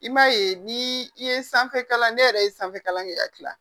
I m'a ye ni i ye sanfɛ kalan ne yɛrɛ ye sanfɛ kalan kɛ ka kila